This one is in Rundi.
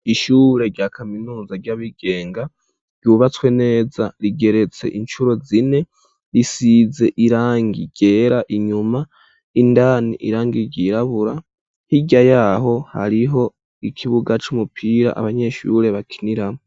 Ishure rya kaminuza ry'abigenga ryubatswe neza rigeretse incuro zine risize irangi ryera inyuma indani irangi ryirabura hirya yaho hariho ikibuga c'umupira abanyeshure bakiniramwo.